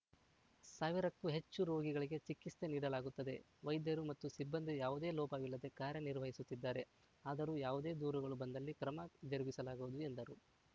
ಸಾವಿರಕ್ಕೂ ಹೆಚ್ಚು ರೋಗಿಗಳಿಗೆ ಚಿಕಿತ್ಸೆ ನೀಡಲಾಗುತ್ತದೆ ವೈದ್ಯರು ಮತ್ತು ಸಿಬ್ಬಂದಿ ಯಾವುದೇ ಲೋಪವಿಲ್ಲದೆ ಕಾರ್ಯನಿರ್ವಹಿಸುತ್ತಿದ್ದಾರೆ ಆದರೂ ಯಾವುದೇ ದೂರುಗಳು ಬಂದಲ್ಲಿ ಕ್ರಮ ಜರುಗಿಸಲಾಗುವುದು ಎಂದರು